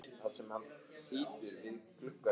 Það var einskær heppni að hann varð vel metinn lögmaður.